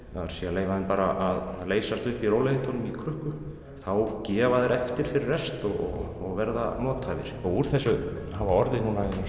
leyfa þeim að leysast upp í rólegheitunum í krukku þá gefa þeir eftir fyrir rest og verða nothæfir úr þessu hafa orðið